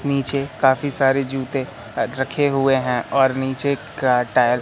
नीचे काफी सारे जूते रखे हुए हैं और नीचे का टायर --